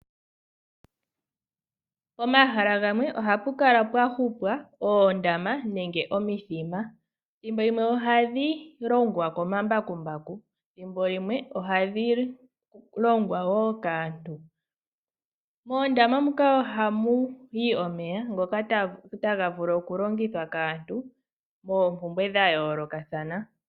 Pomahala gamwe oha pu kala pwa hupwa oondama nenge omithima. Thimbo limwe ohadhi longwa komambakumbaku, thimbo limwe ohadhi longwa wo kaantu. Moondama muka ohamu yi omeya ngoka taga vulu okulongithwa kaantu moompumbwe dha yoolokathana.